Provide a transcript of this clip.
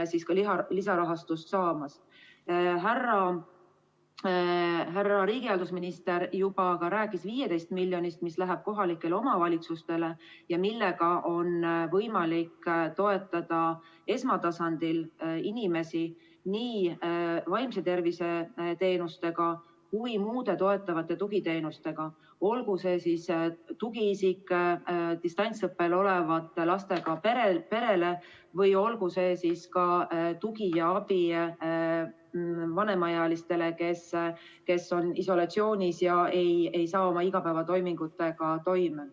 Härra riigihalduse minister juba rääkis 15 miljonist eurost, mis läheb kohalikele omavalitsustele ja millega on võimalik toetada esmatasandil inimesi nii vaimse tervise teenustega kui ka muude toetavate tugiteenustega, olgu see tugiisik distantsõppel olevate lastega perele või tugi ja abi vanemaealistele, kes on isolatsioonis ega tule seetõttu oma igapäevatoimingutega toime.